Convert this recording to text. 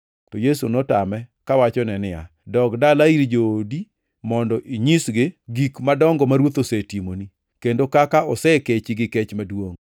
To Yesu notame kawachone niya, “Dog dala ir joodi mondo inyisgi gik madongo ma Ruoth osetimoni, kendo kaka osekechi gi kech maduongʼ.”